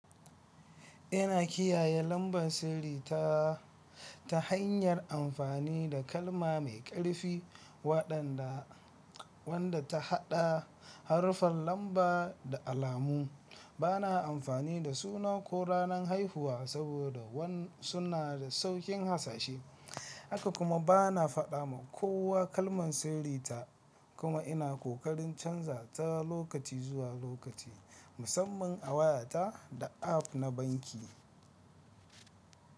Ina kiyaye lambar sirri ta hanyar amfani da kalma mai ƙarfi waɗanda wanda ta haɗa haruffan lamba da alamu. Bana amfani da suna ko ranan haihuwa saboda suna da sauƙin hasashe, haka kuma bana faɗa ma kowa kalman sirri ta kuma ina ƙoƙarin canza ta lokaci zuwa lokaci, musamman a wayata da app na banki.